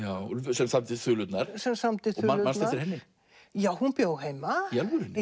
sem samdi sem samdi þulurnar manstu eftir henni jú hún bjó heima í alvörunni